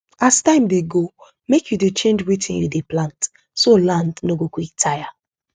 as time dey go make you dey change wetin you dey plant so land no go quick tire